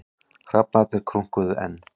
Hrafnarnir krunkuðu enn.